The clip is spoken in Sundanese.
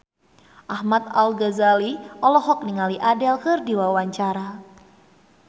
Ahmad Al-Ghazali olohok ningali Adele keur diwawancara